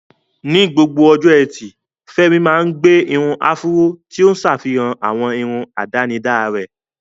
Ní gbogbo ọjọ́ Ẹtì, Femi máa ń gbé irun áfúró, tí ó ń ṣàfihàn àwọn irun àdánidá rẹ̀.